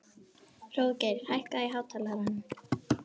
Hróðgeir, hækkaðu í hátalaranum.